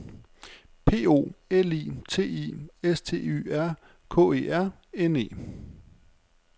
P O L I T I S T Y R K E R N E